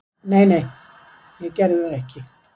Nei, nei ég gerði það ekki.